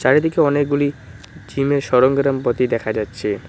চারিদিকে অনেকগুলি জিমের সরংগ্রামপাতি দেখা যাচ্ছে।